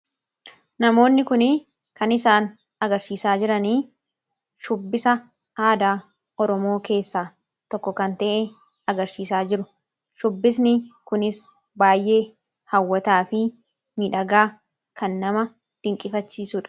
namoonni kuni kan isaan agarsiisaa jiranii shubbisa aadaa oromoo keessaa tokko kan ta'e agarsiisaa jiru shubbisni kunis baay'ee hawwataa fi midhagaa kan nama tinqifachiisuudha